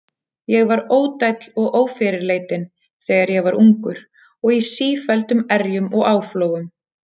Ég var ódæll og ófyrirleitinn, þegar ég var ungur, og í sífelldum erjum og áflogum.